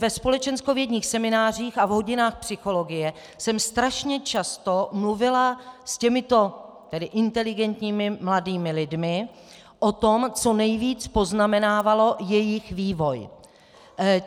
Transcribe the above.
Ve společenskovědních seminářích a v hodinách psychologie jsem strašně často mluvila s těmito inteligentními mladými lidmi o tom, co nejvíc poznamenávalo jejich vývoj.